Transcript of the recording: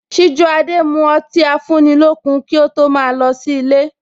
Sijuade mu ọtí afúnilókun kí ó tó ma lọ sí ilé